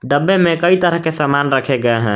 डब्बे में कई तरह के समान रखे गए हैं।